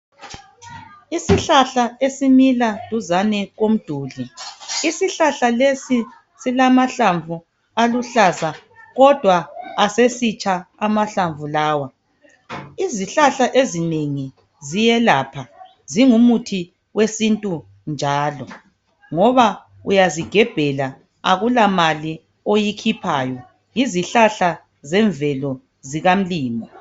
Isihlahla esimila duzane komduli. Isihlahla lesi silamahlamvu aluhlaza kodwa asesitsha amahlamvu lawa. Izihlahla ezinengi ziyelapha zingumuthi wesintu njalo ngoba uyazigebhela akula mali oyikhiphayo yizihlahla zemvelo zikamlimu.